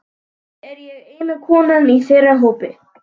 Að auki er ég eina konan í þeirra hópi.